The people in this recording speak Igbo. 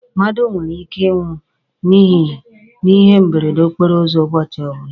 Mmadụ nwere ike ị nwụ n'ihe mberede okporo ụzọ ụbọchị ọbụla.